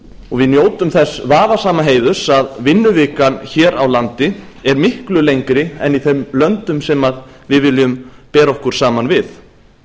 við njótum þess vafasama heiðurs að vinnuvikan hér á landi er miklu lengri en í þeim löndum sem við viljum bera okkur saman við